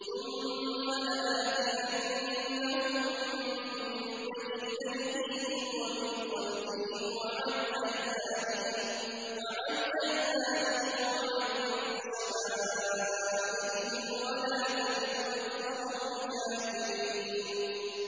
ثُمَّ لَآتِيَنَّهُم مِّن بَيْنِ أَيْدِيهِمْ وَمِنْ خَلْفِهِمْ وَعَنْ أَيْمَانِهِمْ وَعَن شَمَائِلِهِمْ ۖ وَلَا تَجِدُ أَكْثَرَهُمْ شَاكِرِينَ